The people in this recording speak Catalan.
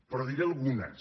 però en diré algunes